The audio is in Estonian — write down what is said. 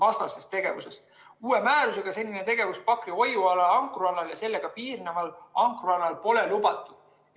Uue määruse järgi ei ole selline tegevus Pakri hoiualal, ankrualal ja sellega piirneval ankrualal lubatud.